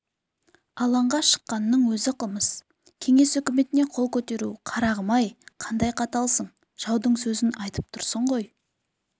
алаңға шыққанның өз қылмыс кеңес үкіметіне қол көтеру қарағым-ай қандай қаталсың жаудың сөзін айтып тұрсың ғой